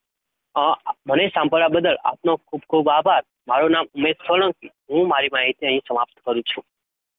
મને સાંભળવા બદલ આપનો ખૂબ ખૂબ આભાર. મારું નામ ઉમેશ સોલંકી. હું મારી માહિતી અહીં સમાપ્ત કરું છું.